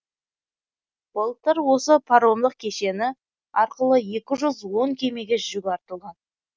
былтыр осы паромдық кешені арқылы екі жүз он кемеге жүк артылған